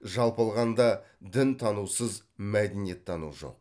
жалпы алғанда дінтанусыз мәдениеттану жоқ